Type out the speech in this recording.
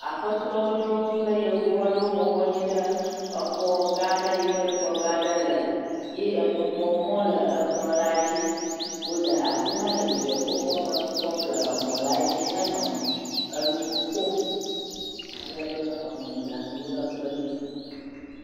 Aƒetɔ aɖewo kple Yevu aɖewo bɔbɔ anyi ɖe exɔgã aɖe yi ke ekplɔ̃gãa aɖe le ye enukpɔmɔ̃ le ekplɔ̃la dzi. Wole afi ma le dzidzɔkpɔkpɔme nu kpɔm le emɔ̃la dzi henɔ enu kom. Alebe mɔ̃ɖaŋuwo le kplɔ̃dzi zã.